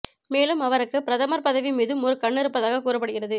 மேலும் அவருக்கு பிரதமர் பதவி மீதும் ஒரு கண் இருப்பதாக கூறப்படுகிறது